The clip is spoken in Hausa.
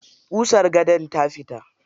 Ƙusan gadon ta fita.